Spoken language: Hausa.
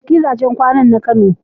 Ka ziyarci gidajen kwanan na kano.